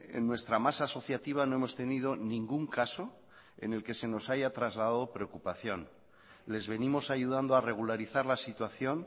en nuestra masa asociativa no hemos tenido ningún caso en el que se nos haya trasladado preocupación les venimos ayudando a regularizar la situación